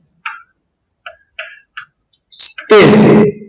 તે